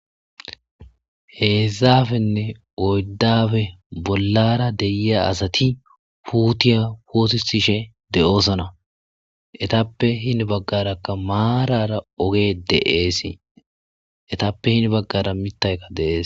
heezaafenne oyddafe bollaara deyiya asati puutiya poosisishe de7oosona. etappe hini baggarakka maarara oge de7eesi. etappe hini baggara mittaykka de7ees.